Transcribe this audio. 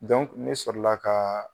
ne sɔrɔ la ka